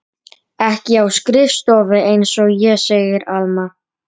Ekki á skrifstofu einsog ég, segir Alma.